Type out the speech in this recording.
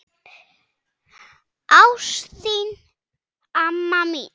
Ást til þín, amma mín.